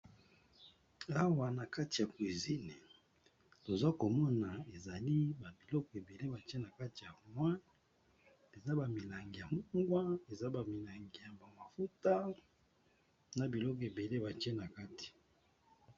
Awa na kati ya cuisine toza komona ezali ba biloko ebele batye na kati ya armoire, eza ba milangi ya mungwa, eza ba milangi ya ba mafuta, na biloko ebele batye na kati.